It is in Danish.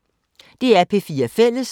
DR P4 Fælles